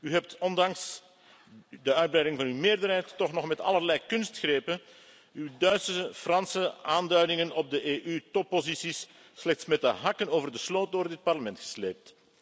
U hebt ondanks de uitbreiding van uw meerderheid toch nog met allerlei kunstgrepen uw Duitse en Franse aanduidingen op de EU topposities slechts met de hakken over de sloot door het Parlement gesleept.